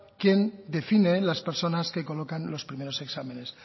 quien define las personas que colocan los primeros exámenes